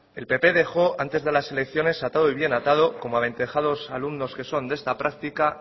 el pp dejó antes de las elecciones atado y bien atado como aventajados alumnos que son de de esta práctica